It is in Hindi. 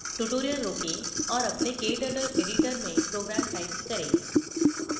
tutorial रोकें और अपने kturtle editor में program type करें